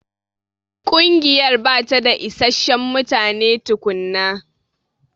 Ƙungiyar bata da isasshen mutane tukunna.